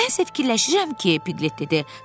Mən isə fikirləşirəm ki, Piglet dedi.